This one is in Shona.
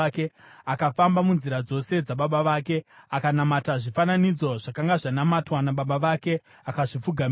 Akafamba munzira dzose dzababa vake; akanamata zvifananidzo zvakanga zvanamatwa nababa vake, akazvipfugamira.